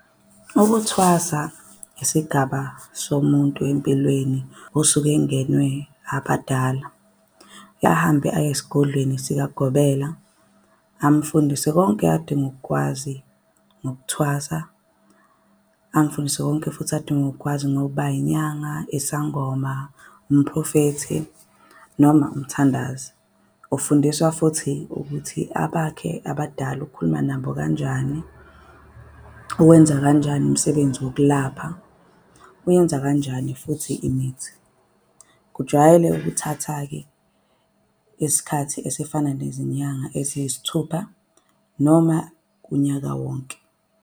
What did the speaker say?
Ukuthwasa isigaba somuntu empilweni osuke engenwe abadala. Ahambe aye esigodlweni sikagobela amfundise konke adinga ukukwazi ngokuthwasa. Amfundise konke futhi adinga ukukwazi ngokuba inyanga, isangoma, umphrofethi noma umthandazi. Ufundiswa futhi ukuthi abakhe abadala ukhuluma nabo kanjani. Uwenza kanjani umsebenzi wokulapha, uyenza kanjani futhi imithi. Kujwayele ukuthatha-ke isikhathi esifana nezinyanga eziyisithupha noma unyaka wonke.